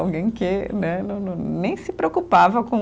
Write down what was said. Alguém que né não não, nem se preocupava com